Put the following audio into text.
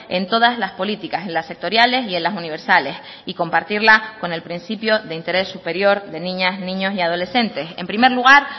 en todas las políticas en las sectoriales y en las universales y compartirla con el principio de interés superior de niñas niños y adolescentes en primer lugar